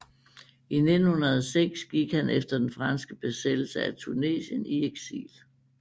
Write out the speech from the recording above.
I 1906 gik han efter den franske besættelse af Tunesien i eksil